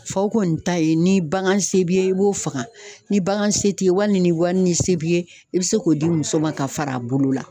Faw kɔni ta ye ni bagan se b'i ye i b'o faga ni bagan se t'i ye wali ni wari ni se b'i ye i be se k'o di muso ma ka fara a bolo la.